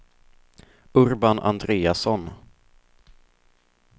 Urban Andreasson